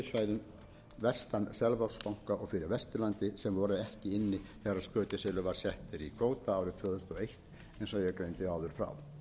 fyrir vesturlandi sem voru ekki inni þegar skötuselur var settur í kvóta árið tvö þúsund og eitt eins og ég greindi áður frá